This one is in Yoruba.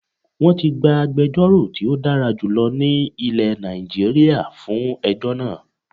Wọ́n ti gba agbejórò tí ó dára jùlọ ní ilẹ̀ Nàìjíríà fún ejọ́ náà